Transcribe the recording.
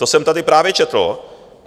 To jsem tady právě četl.